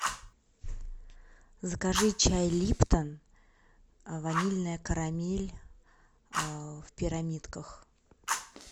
закажи чай липтон ванильная карамель в пирамидках